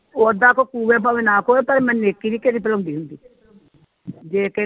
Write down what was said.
ਉਦਾ ਕੋ ਪਵੇ ਨਾ ਪਵੇ ਪਰ ਮੈਂ ਨੇਕੀ ਨੀ ਕਦੀ ਦੁਹਰੋਂਦੀ ਹੁੰਦੀ ਜੇ ਕਿਹੇ ਨੇ